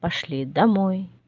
пошли домой